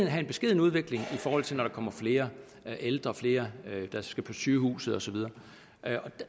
have en beskeden udvikling i forhold til at der kommer flere ældre og flere der skal på sygehuset og så videre